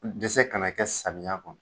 Dɛsɛ kana kɛ samiya kɔnɔ